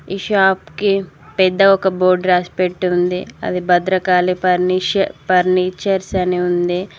ఈ షాప్కి పెద్ద ఒక బోర్డు రాసిపెట్టి ఉంది అది భద్రకాళి పర్నిష్ పర్నిచర్స్ అని ఉంది.